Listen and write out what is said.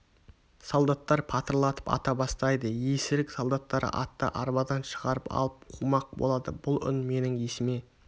солдаттар патырлатып ата бастайды есірік солдаттар атты арбадан шығарып алып қумақ болады бұл үн менің есіме